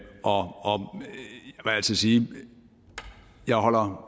altså sige at jeg holder